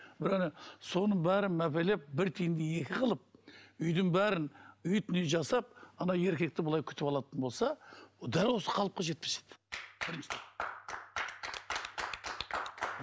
соның бәрін мәпелеп бір тиынды екі қылып үйдің бәрін уютный жасап ана еркекті былай күтіп алатын болса дәл осы қалыпқа жетпес еді